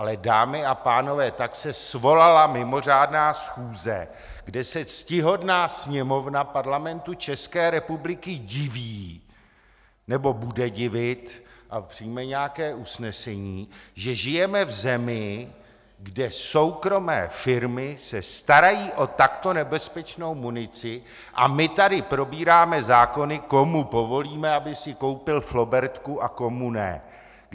Ale dámy a pánové, tak se svolala mimořádná schůze, kde se ctihodná Sněmovna Parlamentu České republiky diví, nebo bude divit a přijme nějaké usnesení, že žijeme v zemi, kde soukromé firmy se starají o takto nebezpečnou munici, a my tady probíráme zákony, komu povolíme, aby si koupil flobertku a komu ne.